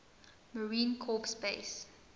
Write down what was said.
marine corps base